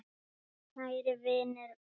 Kær vinur er allur.